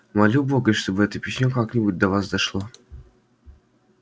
молю бога чтоб это письмо как-нибудь до вас дошло